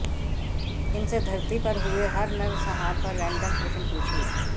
इनसे धरती पर हुए हर नरसंहार पर रैंडम प्रश्न पूछिए